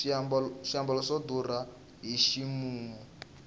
swiambalo swa durha hi ximumu